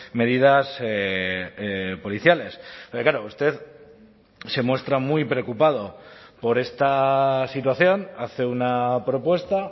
medidas policiales pero claro usted se muestra muy preocupado por esta situación hace una propuesta